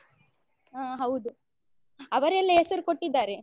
ಹಾ ಹೌದು ಅವರೆಲ್ಲ ಹೆಸರು ಕೊಟ್ಟಿದ್ದಾರೆ.